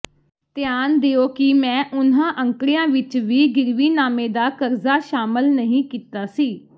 ਧਿਆਨ ਦਿਓ ਕਿ ਮੈਂ ਉਨ੍ਹਾਂ ਅੰਕੜਿਆਂ ਵਿਚ ਵੀ ਗਿਰਵੀਨਾਮੇ ਦਾ ਕਰਜ਼ਾ ਸ਼ਾਮਲ ਨਹੀਂ ਕੀਤਾ ਸੀ